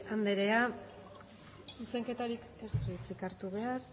anderea zuzenketarik ez du hitzik hartu behar